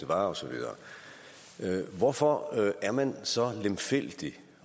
var og så videre hvorfor er man så lemfældig